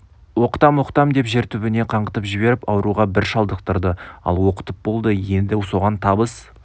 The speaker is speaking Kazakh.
оқытам оқытам деп жер түбіне қаңғытып жіберіп ауруға бір шалдықтырды ал оқытып болды енді соған табыс